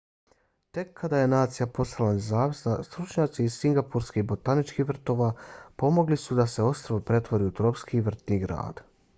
tek kada je nacija postala nezavisna stručnjaci iz singapurskih botaničkih vrtova pomogli suda se ostrvo pretvori u tropski vrtni grad